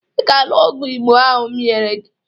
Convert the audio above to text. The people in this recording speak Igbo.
Ị ga-aṅụ ọgwụ Igbo ahụ m nyere gị